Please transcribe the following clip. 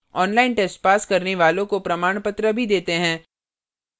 online test pass करने वालों को प्रमाणपत्र भी देते हैं